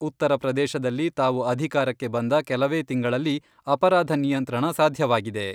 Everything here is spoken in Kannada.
ಉತ್ತರ ಪ್ರದೇಶದಲ್ಲಿ ತಾವು ಅಧಿಕಾರಕ್ಕೆ ಬಂದ ಕೆಲವೇ ತಿಂಗಳಲ್ಲಿ ಅಪರಾಧ ನಿಯಂತ್ರಣ ಸಾಧ್ಯವಾಗಿದೆ.